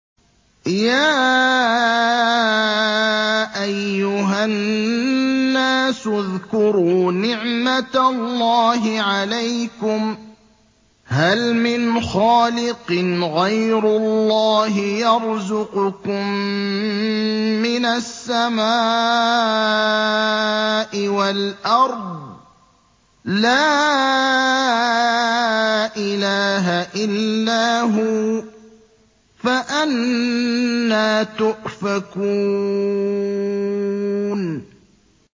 يَا أَيُّهَا النَّاسُ اذْكُرُوا نِعْمَتَ اللَّهِ عَلَيْكُمْ ۚ هَلْ مِنْ خَالِقٍ غَيْرُ اللَّهِ يَرْزُقُكُم مِّنَ السَّمَاءِ وَالْأَرْضِ ۚ لَا إِلَٰهَ إِلَّا هُوَ ۖ فَأَنَّىٰ تُؤْفَكُونَ